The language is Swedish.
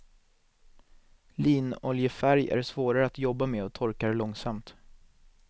Linoljefärg är svårare att jobba med och torkar långsamt.